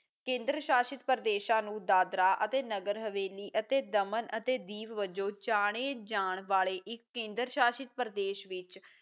ਕੇਂਦਰ ਸ਼ਾਸ਼ਿਤ ਪ੍ਰਦੇਸਾਂ ਨੂੰ ਦਾਦਰਾ ਨਗਰ ਹਵੇਲੀ ਅਤੇ ਦਮਨ ਅਤੇ ਦੀਪ ਵਜੋਂ ਜਾਣੇ ਜਾਣ ਵਾਲੇ ਇੱਕ ਕੇਂਦਰ ਸ਼ਾਸ਼ਿਤ ਪ੍ਰਦੇਸਾਂ ਵਿੱਚ